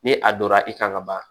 Ni a donra i kan ka ban